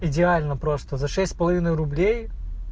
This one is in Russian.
идеально просто за шесть с половиной рублей